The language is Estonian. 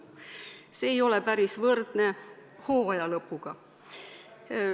" See ei ole päris võrdne hooaja lõpuga.